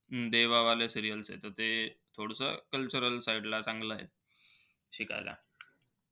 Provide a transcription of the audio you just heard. देवावाले serial आहे. ते थोडसं cultural side ला चांगलंय शिकायला.